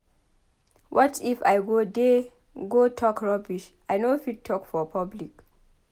What if I go there go talk rubbish I no fit talk for public.